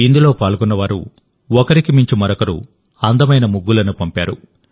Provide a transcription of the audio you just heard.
ఇందులో పాల్గొన్నవారు ఒకరికి మించి మరొకరు అందమైన ముగ్గులను పంపారు